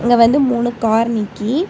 இங்க வந்து மூணு கார் நிக்கீ.